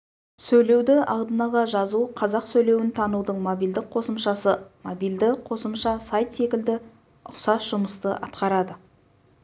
сөйлеуді алдын ала жазу қазақ сөйлеуін танудың мобильдік қосымшасы мобильді қосымша сайт секілді ұқсас жұмысты атқарады